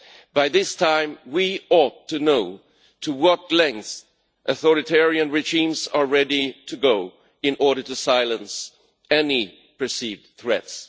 By this time we ought to know to what lengths authoritarian regimes are ready to go in order to silence any perceived threats.